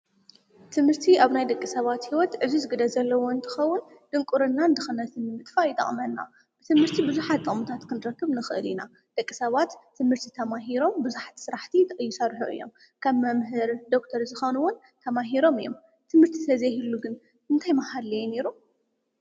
ትምህርቲ ንሓንቲ ዓዲ ካብቶም መሰረት ምዕባለ ኣብ ቅድሚት ዝስራዕ ሓደ እዩ።